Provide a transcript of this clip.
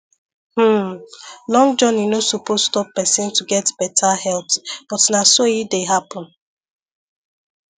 hmm long journey no suppose stop person to get better health but na so e dey happen